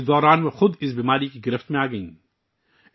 اس سب کے دوران وہ خود اس بیماری کا شکار ہوگئیں